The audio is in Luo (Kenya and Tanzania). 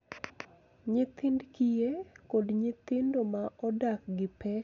Nyithind kiye, kod nyithindo ma odak gi pek e alwuora.